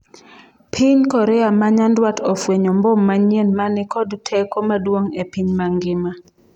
piny Korea ma nyandwat ofwenyo mbom manyien mani kod teko maduong' e piny mangima